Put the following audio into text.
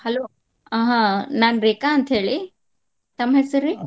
Hello ಆಹ್ ನಾನ್ ರೇಖಾ ಅಂತ ಹೇಳಿ ತಮ್ ಹೆಸರಿ?